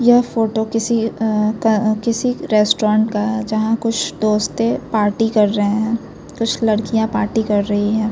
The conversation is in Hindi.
ये फोटो किसी अ अ किसी रेस्टोरेंट का है जहाँ कुछ दोस्तें पार्टी कर रहे हैं कुछ लड़कियाँ पार्टी कर रही हैं।